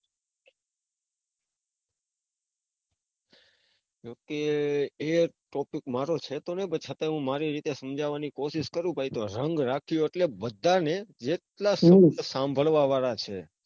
નથી એ topic મારો છે તો નઈ, પણ છતાં હું મારી રીતે સમજવાની કોસીસ કરું પછી તો રંગ રાખ્યો એટલે બધાને જેટલા સાંભળવા વાળા છે.